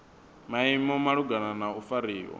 maimo malugana na u fariwa